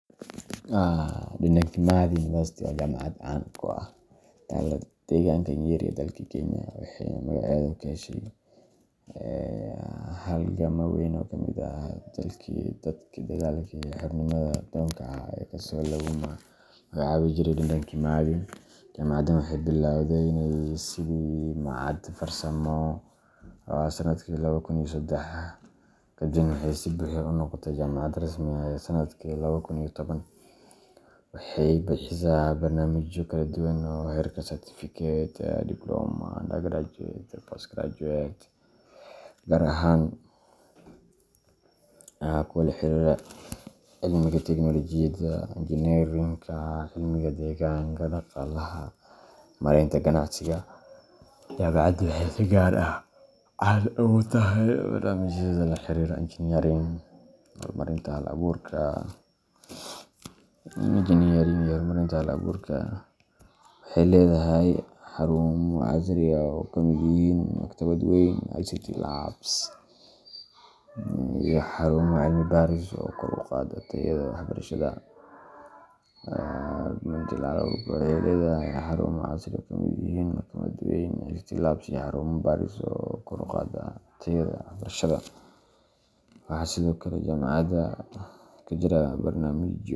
Dedan Kimathi University waa jaamacad caan ah oo ku taalla deegaanka Nyeri ee dalka Kenya, waxayna magaceeda ka heshay halgamaa weyn oo ka mid ahaa dagaalkii xornimo-doonka ahaa, kaas oo lagu magacaabi jiray Dedan Kimathi. Jaamacaddan waxay bilowday sidii machad farsamo sanadkii laba kun iyo saddex, kadibna waxay si buuxda u noqotay jaamacad rasmi ah sanadkii laba kun iyo toban. Waxay bixisaa barnaamijyo kala duwan oo heerka certificate, diploma, undergraduate iyo postgraduate ah, gaar ahaan kuwa la xiriira cilmiga tiknoolajiyadda, injineerinka, cilmiga deegaanka, dhaqaalaha, iyo maaraynta ganacsiga. Jaamacaddu waxay si gaar ah caan ugu tahay barnaamijyadeeda la xiriira engineering iyo horumarinta hal-abuurka. Waxay leedahay xarumo casri ah oo ay ka mid yihiin maktabad weyn, ICT labs, iyo xarumo cilmi baaris oo kor u qaada tayada waxbarashada. Waxaa sidoo kale jaamacadda ka jira barnaamijyo.